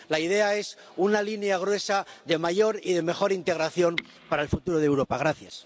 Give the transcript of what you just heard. La idea es una línea gruesa de mayor y de mejor integración para el futuro de Europa.